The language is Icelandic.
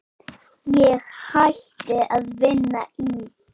Ég hætti að vinna í